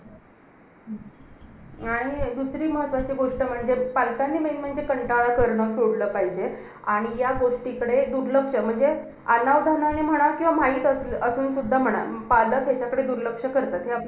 आणि दुसरी महत्वाची गोष्ट म्हणजे, पालकांनी नेहमी नेहमी कंटाळा करणं सोडलं पाहिजे. आणि ह्या गोष्टीकडे दुर्लक्ष, म्हणजे अनावधानाने म्हणा किंवा माहित असू~ असून सुद्धा म्हणा पालक ह्याच्याकडे दुर्लक्ष करतात. हे आपल्या